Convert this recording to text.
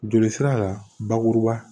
Joli sira la bakuruba